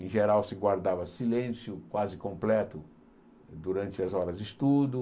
Em geral, se guardava silêncio quase completo durante as horas de estudo.